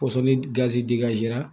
Kɔsɔn ni gazi